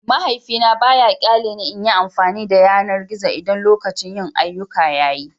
Mahaifina ba ya ƙyale ni in yi amfani da yanar gizo idan lokacin yin ayyuka ya yi.